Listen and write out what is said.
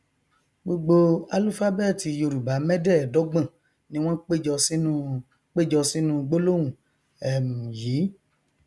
gbogbo álúfábẹẹtì yorùbá mẹdẹẹdọgbọn ni wọn péjọ sínú péjọ sínú gbólóhùn um yìí